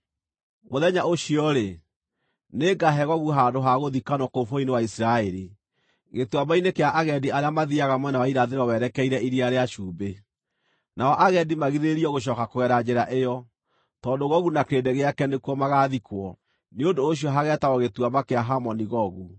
“ ‘Mũthenya ũcio-rĩ, nĩngaahe Gogu handũ ha gũthikanwo kũu bũrũri-inĩ wa Isiraeli, gĩtuamba-inĩ kĩa agendi arĩa mathiiaga mwena wa irathĩro werekeire Iria rĩa Cumbĩ. Nao agendi magirĩrĩrio gũcooka kũgera njĩra ĩyo, tondũ Gogu na kĩrĩndĩ gĩake nĩkuo magaathikwo. Nĩ ũndũ ũcio hageetagwo Gĩtuamba kĩa Hamoni-Gogu.